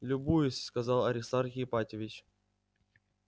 любуюсь сказал аристарх ипатьевич